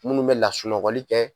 Munnu bɛ lasunɔgɔli kɛ